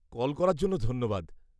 -Call করার জন্য ধন্যবাদ।